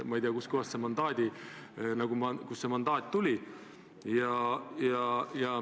Ma ei tea, kust see mandaat tuli.